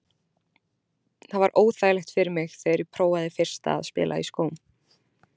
Það var óþægilegt fyrir mig þegar ég prófaði fyrsta að spila í skóm.